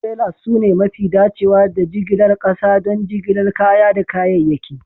Trailers sune mafi dacewa da jigilar ƙasa don jigilar kaya da kayayyaki